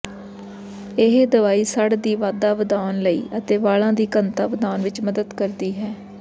ਇਹ ਦਵਾਈ ਸੜ੍ਹ ਦੀ ਵਾਧਾ ਵਧਾਉਣ ਅਤੇ ਵਾਲਾਂ ਦੀ ਘਣਤਾ ਵਧਾਉਣ ਵਿੱਚ ਮਦਦ ਕਰਦੀ ਹੈ